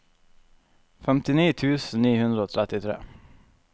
femtini tusen ni hundre og trettitre